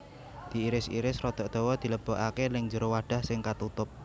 Diiris iris rada dawa dilebokaké nèng jero wadah sing katutup